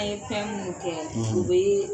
A ye fɛn mun kɛ; O bɛ ye